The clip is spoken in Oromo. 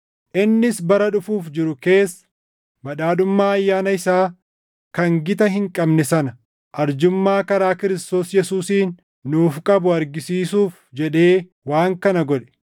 innis bara dhufuuf jiru keessa badhaadhummaa ayyaana isaa kan gita hin qabne sana arjummaa karaa Kiristoos Yesuusiin nuuf qabu argisiisuuf jedhee waan kana godhe.